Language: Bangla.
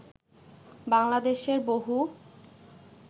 বাংলাদেশের বহু